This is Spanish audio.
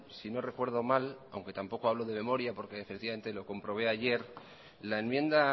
si no recuerdo mal aunque tampoco hablo de memoria porque efectivamente lo comprobé